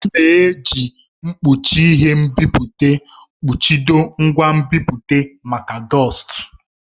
A na-eji mkpuchi ihe nbipute kpuchido ngwa nbipute maka dọstu.